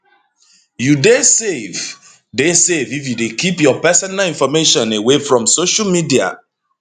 you dey safe dey safe if you dey keep your personal information away from social media